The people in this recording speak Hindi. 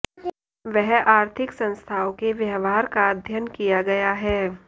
वह आर्थिक संस्थाओं के व्यवहार का अध्ययन किया गया है